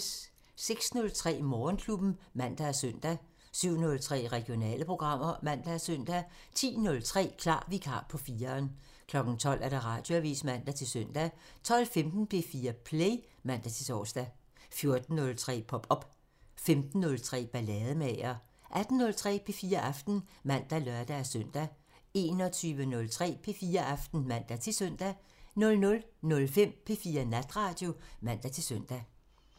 06:03: Morgenklubben (man og søn) 07:03: Regionale programmer (man og søn) 10:03: Klar Vikar på 4'eren 12:00: Radioavisen (man-søn) 12:15: P4 Play (man-tor) 14:03: Pop op 15:03: Ballademager 18:03: P4 Aften (man og lør-søn) 21:03: P4 Aften (man-søn) 00:05: P4 Natradio (man-søn)